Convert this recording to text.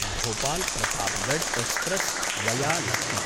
Bhopal Pratapgarh express via Lucknow